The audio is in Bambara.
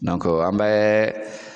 an bɛ